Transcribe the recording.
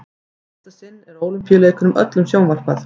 í fyrsta sinn er ólympíuleikunum öllum sjónvarpað